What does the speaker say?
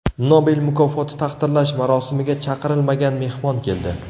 Nobel mukofoti taqdirlash marosimiga chaqirilmagan mehmon keldi.